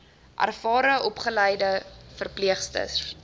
ervare opgeleide verpleegsters